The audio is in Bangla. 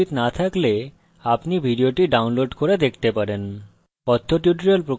যদি ভাল bandwidth না থাকে তাহলে আপনি ভিডিওটি download করে দেখতে পারেন